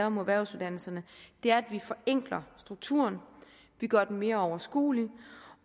om erhvervsuddannelserne er at vi forenkler strukturen vi gør den mere overskuelig